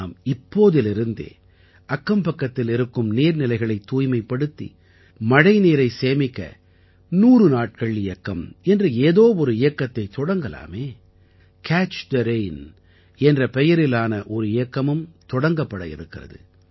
நாம் இப்போதிலிருந்தே அக்கம்பக்கத்தில் இருக்கும் நீர்நிலைகளைத் தூய்மைப்படுத்தி மழைநீரை சேமிக்க 100 நாட்கள் இயக்கம் என்ற ஏதோ ஒரு இயக்கத்தைத் தொடங்கலாமே கேட்ச் தே ரெயின் என்ற பெயரிலான ஒரு இயக்கமும் தொடங்கப்பட இருக்கிறது